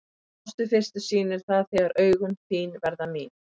Ást við fyrstu sýn er það þegar augun þín verða mín.